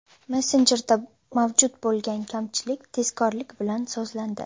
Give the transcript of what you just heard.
Messenjerda mavjud bo‘lgan kamchilik tezkorlik bilan sozlandi.